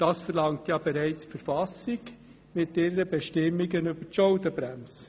Das verlangt ja bereits die Verfassung mit ihren Bestimmungen zur Schuldenbremse.